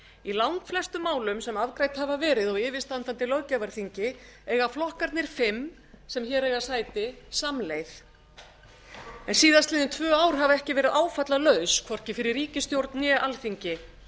í langflestum málum sem afgreidd hafa verið á yfirstandandi löggjafarþingi eiga flokkarnir sem hér eiga sæti samleið síðastliðin tvö ár hafa ekki verið áfallalaus hvorki fyrir ríkisstjórn né alþingi